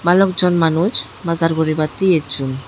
balok jon manuch bazaar guri batte ecchon.